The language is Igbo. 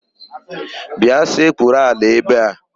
Bịa sekpuru ala ebe a!